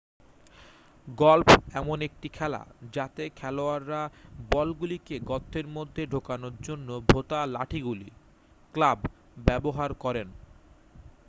Golf এমন একটি খেলা যাতে খেলোয়াড়েরা বলগুলিকে গর্তের মধ্যে ঢোকানোর জন্য ভোঁতা লাঠিগুলি ক্লাব ব্যবহার করেন।